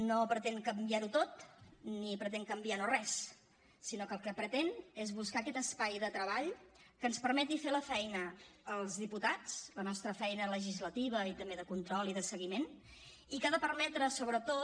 no pretén canviar ho tot ni pretén canviar no res sinó que el que pretén és buscar aquest espai de treball que ens permeti fer la feina als diputats la nostra feina legislativa i també de control i de seguiment i que ha de permetre sobretot